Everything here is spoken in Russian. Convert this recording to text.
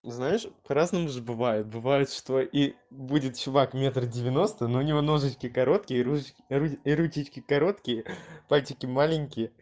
знаешь по разному же бывает бывает что и будет чувак метр девяносто но у него ноги короткие и руки короткие пальчики маленькие